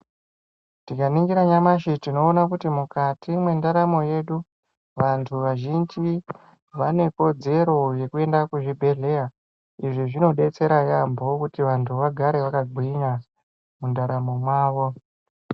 Tikaningira nyamashi tinoona kuti mukati mwendaramo yedu t vanthu vazhinji vanekodzero uekuenda kuzvibhedlera izvi zvinodetsera yaambo kuti vanthu vagare vakagwinya mundaramo mwavo.